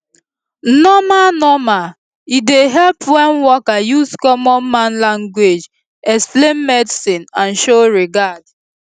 normal normal e dey help wen worker use common man language explain medicine and show regard